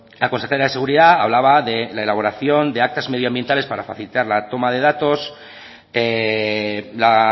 la consejera de seguridad hablaba de la elaboración de actas medioambientales para facilitar la toma de datos la